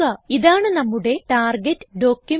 ഇതാണ് നമ്മുടെ target document